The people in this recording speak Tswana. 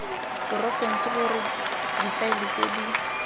porofense gore difaele tse di